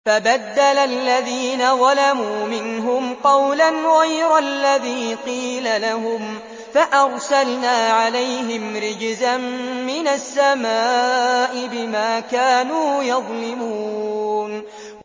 فَبَدَّلَ الَّذِينَ ظَلَمُوا مِنْهُمْ قَوْلًا غَيْرَ الَّذِي قِيلَ لَهُمْ فَأَرْسَلْنَا عَلَيْهِمْ رِجْزًا مِّنَ السَّمَاءِ بِمَا كَانُوا يَظْلِمُونَ